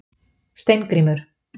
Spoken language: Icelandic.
Steingrímur